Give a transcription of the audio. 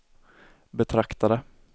betraktade